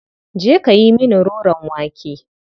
Je ka yi mini roron wake.